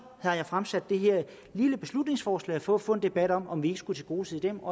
har jeg fremsat det her lille beslutningsforslag for at få en debat om om vi ikke skulle tilgodese dem